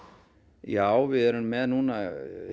já við erum með núna